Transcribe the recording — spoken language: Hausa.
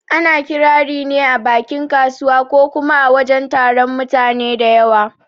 Ana Ƙirari ne a bakin kasuwa ko kuma a wajen taron mutane da yawa